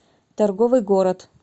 торговый город